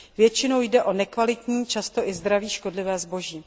Většinou jde o nekvalitní, často i zdraví škodlivé zboží.